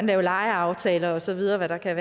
lave legeaftaler og så videre kan